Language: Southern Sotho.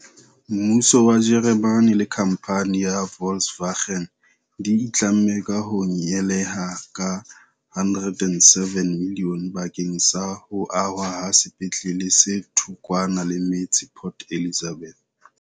Mmuso wa Jeremane le khamphane ya Volkswagen di itlamme ka ho nyehela ka 107 milione bakeng sa ho ahwa ha sepetlele se thokwana le metse Port Elizabeth.